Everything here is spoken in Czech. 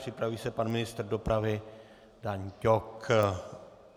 Připraví se pan ministr dopravy Dan Ťok.